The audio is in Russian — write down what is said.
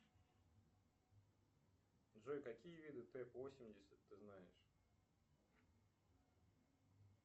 джой какие виды т восемьдесят ты знаешь